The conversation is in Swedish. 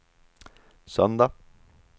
söndag